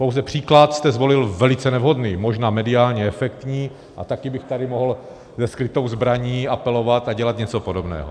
Pouze příklad jste zvolil velice nevhodný, možná mediálně efektní, a také bych tady mohl se skrytou zbraní apelovat a dělat něco podobného.